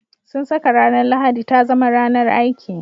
Sun saka ranar Lahadi ta zama ranar aiki.